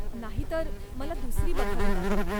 नाहीतर, मला दुसरी बघावी लागेल.